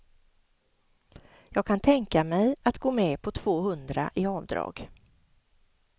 Jag kan tänka mig att gå med på tvåhundra i avdrag.